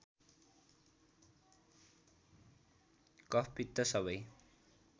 कफ पित्त सबै